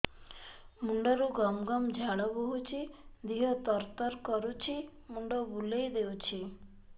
ମୁଣ୍ଡରୁ ଗମ ଗମ ଝାଳ ବହୁଛି ଦିହ ତର ତର କରୁଛି ମୁଣ୍ଡ ବୁଲାଇ ଦେଉଛି